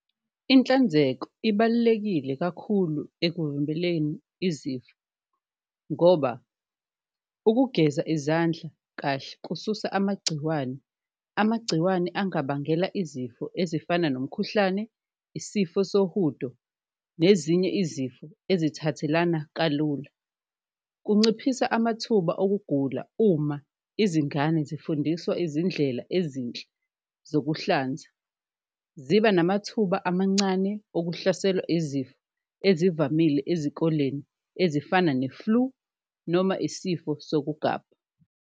Inhlanzeko ibalulekile kakhulu ekuvimbeleni izifo ngoba ukugeza izandla kahle kususa amagciwane, amagciwane engabangela izifo ezifana nomkhuhlane, isifo sohudo nezinye izifo ezithathelana kalula. Kunciphisa amathuba okugula uma izingane zifundiswa izindlela ezinhle zokuhlanza, ziba namathuba amancane okuhlaselwa izifo ezivamile ezikoleni ezifana ne-flu noma isifo sokugaba.